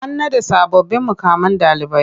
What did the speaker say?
An naɗa sababbin muƙaman ɗalibai.